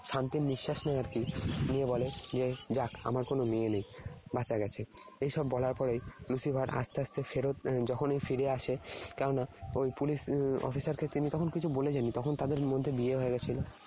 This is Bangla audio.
শান্তির নিশ্বাস নেয় আর কি। নিয়ে বলে 'যাক, আমার কোন মেয়ে নেই। বাঁচা গেছে।' এসব বলার পরে Lucifer আস্তে আস্তে ফেরত, যখনই ফিরে আসে, কেননা ওই police officer কে তিনি তখন কিছু বলে যাননি। তখন তাদের মধ্যে বিয়ে হয়ে গেছিল